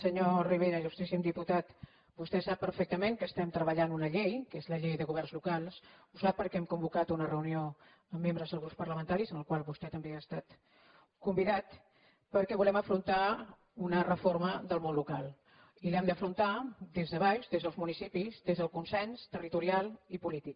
senyor rivera il·lustríssim diputat vostè sap perfectament que estem treballant una llei que és la llei de governs locals ho sap perquè hem convocat una reunió amb membres dels grups parlamentaris a la qual vostè també ha estat convidat perquè volem afrontar una reforma del món local i l’hem d’afrontar des de baix des dels municipis des del consens territorial i polític